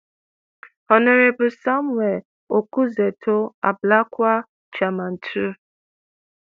hon samuel okudzeto ablakwa – chairman 2.